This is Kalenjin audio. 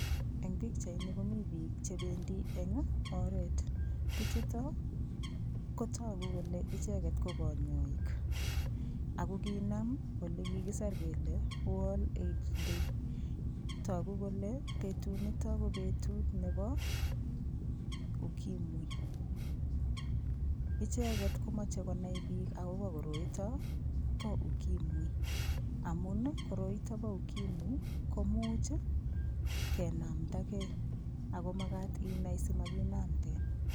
Eng' pikchaini komi biik chebendi eng' oret bichuto kotoku kole icheget ko konyoik ako kinam ole kikiser kele world aids day toku kole betunito ko betut ne Bo ukimwi icheget komochei konai biik akobo koroito bo ukimwi amun koroito bo ukimwi komuuch kenamdakei akomakat inai simakinamten